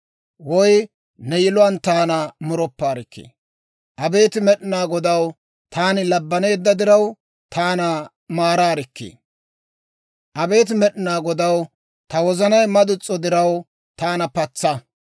Abeet Med'inaa Godaw, taani labbanneedda diraw, taana maaraarikkii. Abeet Med'inaa Godaw, ta wozanay madus's'o diraw, taana patsa.